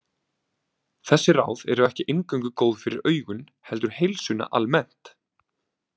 Þessi ráð eru ekki eingöngu góð fyrir augun heldur heilsuna almennt.